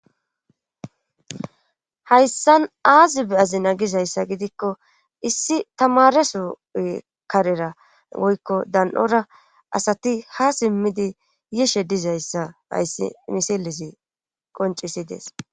Hayssan aazi be7azina gizayssa gidikko issi tamareso karera woykko dan7ora asati ha simmidi yishe dizayssa hayssi misilezi qoncisidees.